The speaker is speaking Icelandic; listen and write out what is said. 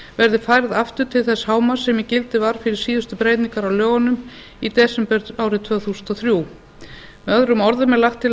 verði færð aftur til þess hámarks sem í gildi var fyrir síðustu breytingar á lögunum í desember árið tvö þúsund og þrjú möo er lagt til